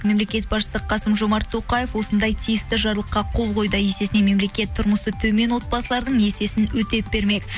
мемлекет басышысы қасым жомарт тоқаев осындай тиісті жарлыққа қол қойды есесіне мемлекет тұрмысы төмен отбасылардың несиесін өтеп бермек